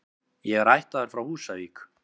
Ég er ættaður frá Húsavík.